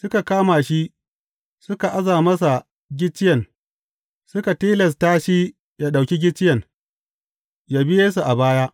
Suka kama shi, suka aza masa gicciyen, suka tilasta shi ya ɗauki gicciyen, ya bi Yesu a baya.